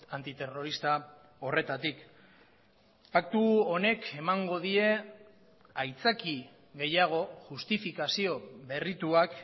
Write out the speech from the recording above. antiterrorista horretatik paktu honek emango die aitzaki gehiago justifikazio berrituak